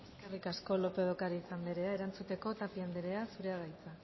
eskerrik asko lópez de ocariz anderea erantzuteko tapia anderea zurea da hitza